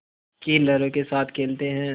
की लहरों के साथ खेलते हैं